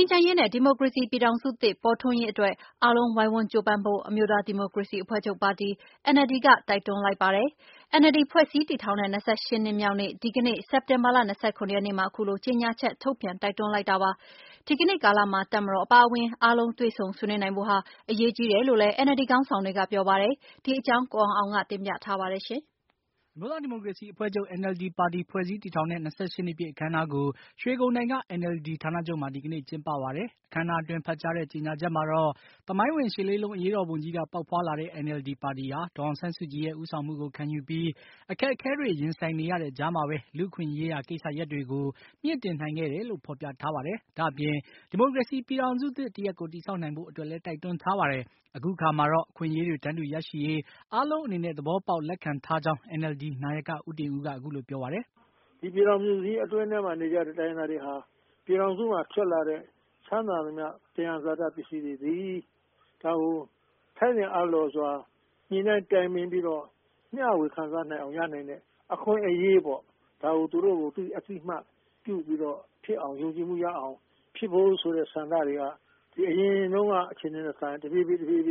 မ်းချမ်းရေးနဲ့ ဒီမိုကရေစီပြည်ထောင်စုသစ်ပေါ်ထွန်းရေးအတွက် အားလုံးဝိုင်းဝန်းကြိုးပမ်းဖို့ အမျိုးသားဒီမိုကရေစီအဖွဲ့ချုပ် NLD ပါတီက တိုက်တွန်းလိုက်ပါတယ်။ NLD ပါတီ ဖွဲ့စည်းထောင်ထောင်တဲ့ ၂၈ နှစ်ပြည်မြောက်တဲ့ ဒီကနေ့ စက်တင်ဘာလ ၂၇ရက်နေ့မှာ အခုလိုကြေညာချက် ထုတ်ပြန်တိုက်တွန်းလိုက်တာပါ။ ဒီကနေ့ကာလမှာ တပ်မတော်အပါအဝင် အားလုံးတွေ့ဆုံဆွေးနွေးနိုင်ဖို့ဟာ အရေးကြီးတယ်လို့လည်း NLD ခေါင်းဆောင်တွေက ပြောပါတယ်။ ဒီအကြောင်း ကိုအောင်အောင်က တင်ပြထားပါတယ်။ အမျိုးသားဒီမိုကရေစီအဖွဲ့ချုပ် NLD ပါတီ ဖွဲ့စည်းတည်ထောင်တဲ့ ၂၈ နှစ်ပြည့်အခမ်းအနားကို ရွှေဂုန်တိုင်က NLD ဌာနချုပ်မှာ ဒီကနေ့ကျင်းပပါတယ်။ဒီကနေ့အခမ်းအနားအတွင်းဖတ်ကြားတဲ့ ကြေညာချက်မှာတော့ သမိုင်းဝင် ၈ လေးလုံးအရေးတော်ပုံကြီးက ပေါက်ဖွါးလာတဲ့ NLD ပါတီဟာ ဒေါ်အောင်ဆန်းစုကြည်ရဲ့ ဦးဆောင်မှုကိုခံယူပြီး အခက်အခဲတွေ ရင်ဆိုင်နေရာတဲ့ကြားမှာပဲ လူ့အခွင့်အရေးရာ ကိစ္စရပ်တွေ ကို မြှင့်တင်နိုင်ခဲ့တယ်လို့ ဖေါ်ပြထားပါတယ်။ ဒါ့အပြင် ဒီမိုကရေစီပြည်ထောင်စုသစ် တရပ်ကို တည်ဆောက်နိုင်ဖို့အတွက်လည်း တိုက်တွန်းထားပါတယ်။ အခုအခါမှာတော့ အခွင့်အရေးတွေ တန်းတူရရှိရေး အားလုံးအနေနဲ့ သဘောပေါက်လက်ခံထားကြောင်း NLD နာယက ဦးတင်ဦးက အခုလို ပြောပါတယ်။ “ဒီပြည်ထောင်စုကြီးအတွင်းထဲမှာနေကြတဲ့ တိုင်းရင်းသားတွေဟာ ပြည်ထောင်စုမှာ ထွက်လာတဲ့ ချမ်းသာသမျှ သံယံဇာတတွေကို ထိုက်သင့်အားလျော်စွာ ညှိနှိုင်းတိုင်ပြင်ပြီးတော့ မျှဝေခံစားနိုင်အောင် ရနိုင်တဲ့အခွင့်အရေးပေါ့ ဒါကို သူတို့ကို အသိအမှတ်ပြုပြီးတော့ ဖြစ်အောင်ယုံကြည်မှုရအောင် ဖြစ်ဖို့ဆိုတဲ့ဆန္ဒတွေက ဒီအရင်တုန်းက အခြေအနေထက်စာရင် တဖြည်းဖြည်း တိုင်းရ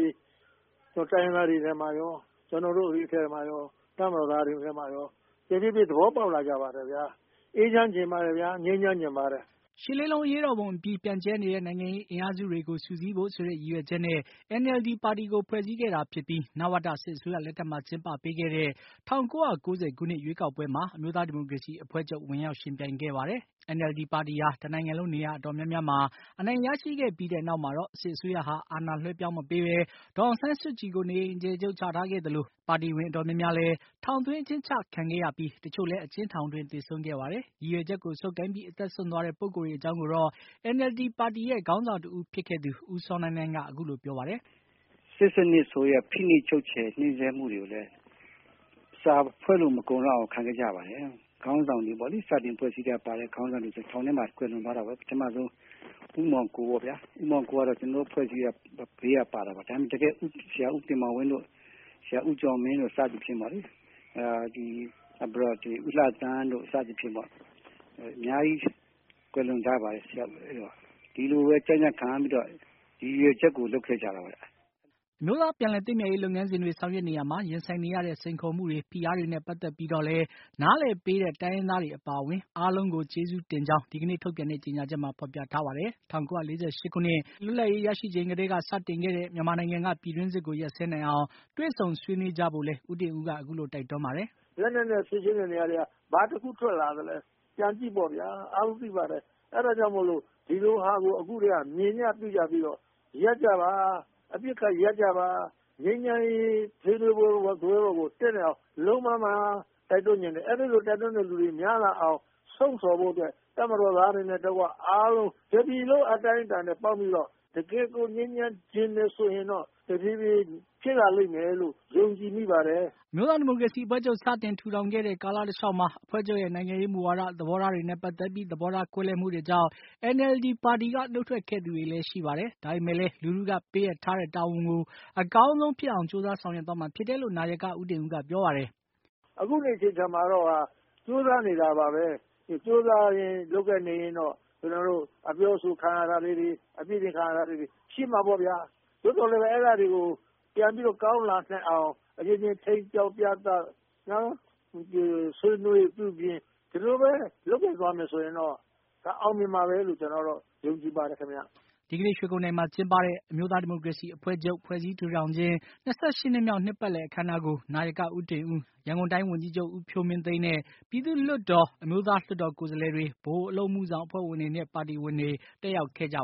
င်းသားတွေထဲမှာရော ကျနော်တို့မှာရော တပ်မတော်သားတွေထဲမှာရော သဘောပေါက်လာကြပါတယ်ခင်ဗျ။ အေးချမ်းချင်ပါတယ် ငြိမ်းချမ်းချင်ပါတယ်။” ၈ လေးလုံးအရေးတော်ပုံအပြီး ပြန့်ကျဲနေတဲ့ နိုင်ငံရေးအင်အားစုတွေကို စုစည်းဖို့ ဆိုတဲ့ ရည်ရွယ်ချက်နဲ့ NLD ပါတီကို ဖွဲ့စည်းခဲ့တာဖြစ်ပြီး နဝတ စစ်အစိုးရလက်ထက်မှာ ကျင်းပပေးခဲ့တဲ့ ၁၉၉၀ ခုနှစ် ရွေးကောက်ပွဲမှာ အမျိုးသားဒီမိုကရေစီအဖွဲ့ချုပ် ဝင်ရောက်ယှဉ်ပြိုင်ခဲ့ပါတယ်။ NLD ပါတီဟာတနိုင်ငံလုံး နေရာအတော်များများမှာ အနိုင်ရရှိခဲ့ပြီးနောက်မှာတော့ စစ်အစိုးရဟာ အာဏာလွှဲပြောင်း မပေးဘဲ ဒေါ်အောင်ဆန်းစုကြည် ကို နေအိမ်အကျယ်ချုပ်ချထားခဲ့သလို၊ ပါတီဝင် အတော်များများ လည်း ထောင်သွင်း အကျဉ်းချခံခဲ့ရပြီး တချို့လည်း အကျဉ်းထောင်အတွင်း သေဆုံးခဲ့ပါတယ်။ ရည်ရွယ်ချက်ကို ဆုပ်ကိုင်ပြီး အသက်စွန့်သွားခဲ့တဲ့ ပုဂ္ဂိုလ်တွေအကြောင်းကို NLD ပါတီရဲ့ ခေါင်းဆောင်တဦး ဖြစ်ခဲ့သူ ဦးစောနိုင်းနိုင်းက အခုလိုပြောပါတယ်။ “စနစ်ဆိုးရဲ့ ဖိနှိပ်ချုပ်ချယ်ညှင်းဆဲမှုတွေကိုလည်း စာဖွဲ့လို့မကုန်အောင် ခံခဲ့ကြရပါတယ်။ စတင်ဖွဲ့စည်းတဲ့အချိန်ပါတဲ့ ခေါင်းဆောင်တွေဆိုရင် ထောင်ထဲမှာ ကွယ်လွန်သွားပါတယ်။ ပထမဆုံး ဦးမောင်ကို ပေါ့ဗျာ သူက ကျနော်တို့ ဖွဲ့စည်းကတည်းက ဘေးကပါတာပါ။ ဆရာ ဦးတင်မောင်ဝင်းတို့ ၊ ဆရာဦးကျော်မင်းတို့ စသဖြင့် နောက်ပြီး ဦးလှသန်းတို့ စသဖြင့်ပေါ့ အများကြီး ကွယ်လွန်သွားကြပါတယ်။ ဒီလိုပဲ ကြံကြံခံပြီးတော့ ဒီရည်ရွယ်ချက်ကို လုပ်ခဲ့ကြတာပါ။” အမျိုးသားပြန်လည်သင့်မြတ်ရေးလုပ်ငန်းစဉ်တွေ ဆောင်ရွက်နေရာမှာ ရင်ဆိုင်နေရတဲ့ စိန်ခေါ်မှုတွေ ဖိအားတွေနဲ့ ပတ်သတ်ပြီးတော့လည်း နားလည်ပေးတဲ့ တိုင်းရင်းသားတွေအပါအဝင် အားလုံးကို ကျေးဇူးတင်ကြောင်း လည်း ဒီကနေ့ထုတ်ပြန်တဲ့ ကြေညာချက်မှာ ဖေါ်ပြထားပါတယ်။ ၁၉၄၈ ခုနှစ် လွတ်လပ်ရေးစတင်ရရှိချိန်ကတည်းက စတင်ခဲ့တဲ့ မြန်မာနိုင်ငံက ပြည်တွင်းစစ်ကို ရပ်စဲနိုင်အောင် တွေ့ဆုံဆွေးနွေးကြဖို့လည်း ဦးတင်ဦးက အခုလိုတိုက်တွန်းပါတယ်။ “လက်နက်နဲ့ဖြေရှင်းတဲ့နေရာတွေက ဘာတခုထွက်လာသလဲ ပြန်ကြည့်ပေါ့ဗျာ အားလုံးသိပါတယ်။ အဲဒါကြောင့်မို့လို့ ဒီလိုဟာတွေကို အခုကတည်းက မြင်ကြပြုကြပြီးတော့ အပစ်အခတ်ရပ်ကြပါ။ ငြိမ်းချမ်းရေးဆွေးနွေးပွဲစားပွဲပေါ်ကိုတက်နိုင်အောင် လုပ်ပါလို့ တိုက်တွန်းချင်တယ်။ အဲဒီလို တိုက်တွန်းတဲ့လူတွေများလာအောင် လှုံ့ဆော်ဖို့အတွက် တပ်မတော်သားတွေနဲ့ တကွ အားလုံး တပြည်လုံးအတိုင်းအတာနဲ့ ပေါင်းပြီးတော့ တကယ့်ကိုငြိမ်းချမ်းချင်တယ် ဆိုရင်တော့တဖြည်းဖြည်း ဖြစ်လာလိမ့်မယ်လို့ ယုံကြည်မိပါတယ်။” အမျိုးသားဒီမိုကရေစီအဖွဲ့ချုပ် စတင်ထူထောင်ခဲ့တဲ့ ကာလတလျှောက်မှာ အဖွဲ့ချုပ်ရဲ့ နိုင်ငံရေး မူဝါဒ၊ သဘောထား တွေနဲ့ ပတ်သတ်ပြီး သဘောထားကွဲလွဲမှုတွေကြောင့် NLD ပါတီက နှုတ်ထွက်ခဲ့သူတွေလည်း ရှိခဲ့ပါတယ်။ ဒါပေမယ့်လည်း လူထုက ပေးအပ်ထားတဲ့တာဝန်ကို အကောင်းဆုံးဖြစ်အောင် ကြိုးစားဆောင်ရွက်သွားမှာဖြစ်တယ်လို့နာယက ဦးတင်ဦးက ပြောပါတယ်။ "အခုဒီအချိန်မှာတော့ ကြိုးစားနေတာပါပဲ၊ ကြိုးစားရင်း လုပ်ကိုင်နေရင်းတော့ ကျနော်တို့အပြောအဆို ခံရတာတွေ၊ ပြစ်တင်ခံရတာတွေ ရှိမှာပေါ့ဗျာ။ သို့သော်လည်း အဲဒါတွေကို ပြန်ပြီးတော့ ကောင်းလာနိုင်အောင် ထိန်းကျောင်းပြသ ဆွေးနွေးပြုပြင် ဒီလိုပဲ လုပ်ကိုင်သွားမယ်ဆိုရင်တော့ ဒါအောင်မြင်မှာပဲလို့ ကျနော်ကတော့ ယုံကြည်ပါတယ်။” ဒီကနေ့ ရွှေဂုန်တိုင်မှာ ကျင်းပတဲ့ အမျိုးသားဒီမိုကရေစီအဖွဲ့ချုပ် ဖွဲ့စည်းထူထောင်ခြင်း ၂၈ နှစ်မြောက် နှစ်ပါတ်လည်အခမ်းအနားကို နာယကဦးတင်ဦး၊ ရန်ကုန်တိုင်းဝန်ကြီးချုပ် ဦးဖြိုးမင်းသိန်းနဲ့ ပြည်သူ့လွတ်တော်အမျိုးသား လွတ်တော် ကိုယ်စားလှယ်တွေ၊ ဗဟိုအလုပ်အမှုဆောင်အဖွဲ့ဝင်တွေနဲ့ ပါတီဝင်တွေ တက်ရောက်ခဲ့ပါ